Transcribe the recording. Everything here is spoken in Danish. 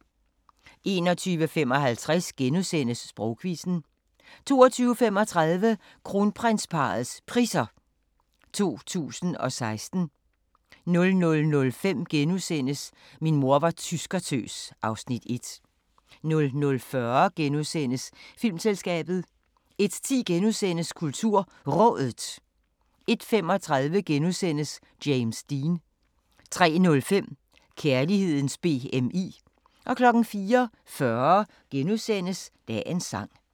21:55: Sprogquizzen * 22:35: Kronprinsparrets Priser 2016 00:05: Min mor var tyskertøs (Afs. 1)* 00:40: Filmselskabet * 01:10: KulturRådet * 01:35: James Dean * 03:05: Kærlighedens BMI 04:40: Dagens Sang *